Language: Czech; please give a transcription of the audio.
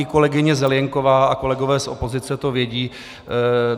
I kolegyně Zelienková a kolegové z opozice to vědí.